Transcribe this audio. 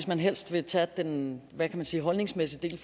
man helst vil tage den hvad kan man sige holdningsmæssige del i